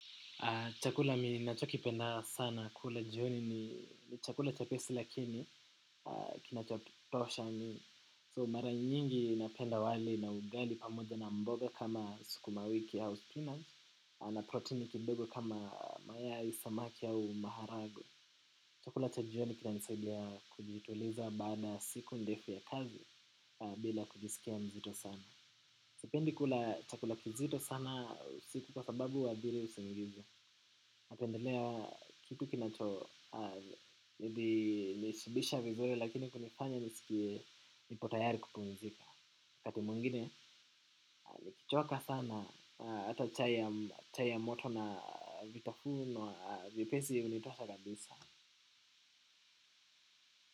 Chakula ninachokipenda sana kula jioni ni chakula chepesi lakini kinachatosha ni so mara nyingi napenda wali na ugali pamoja na mboga kama sukuma wiki au spinach na protini kidogo kama mayai samaki au maharagwe. Chakula cha jioni kinanisaidia kujituliza baada ya siku ndefu ya kazi bila kujisikia mzito sana. Sipendi kula chakula kizito sana usiku kwa sababu huathiri usingizi. Napendelea kitu kinachonishibisha vizuri lakini kunifanya nisikie nipo tayari kupumzika. Wakati mwengine nikichoka sana hata chai ya moto na vitafuno vyepesi hunitosha kabisa.